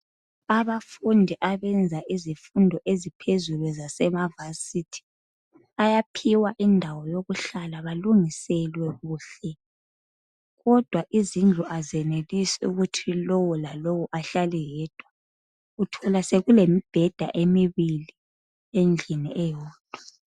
Abafundi abenza izifundo eziphezulu zasema Yunivesi bayaphiwa indawo yokuhlala balungiselwe kuhle kodwa izindlu azenelisi ukuthi lowo lalowo ahlale yedwa. Uthola sekulemibheda emibili endlini eyodwa.